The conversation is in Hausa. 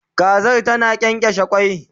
Kazar zata kyankyashe kwai